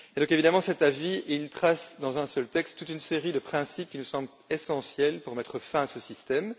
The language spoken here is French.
Évidemment, cet avis énonce dans un seul texte toute une série de principes qui nous semblent essentiels pour mettre fin à ce système.